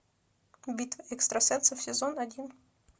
битва экстрасенсов сезон один